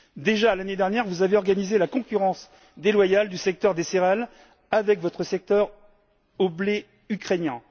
Déjà l'année dernière, vous avez organisé la concurrence déloyale du secteur des céréales avec votre soutien au blé ukrainien.